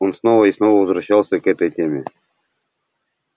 он снова и снова возвращался к этой теме